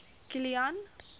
kilian